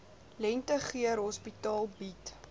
lentegeur hospitaal bied